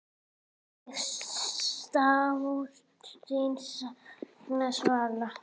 Ég sárt þín sakna, Svala.